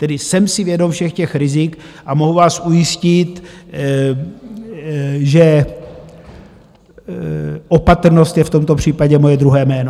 Tedy jsem si vědom všech těch rizik a mohu vás ujistit, že opatrnost je v tomto případě moje druhé jméno.